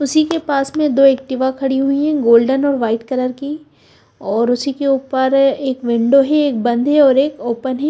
उसीके पास में दो ऍक्टिवा खडी हुई हैं गोल्डन और व्हाईट कलर की और उसीके उपर एक विंडो ही हैं और ओपन ही --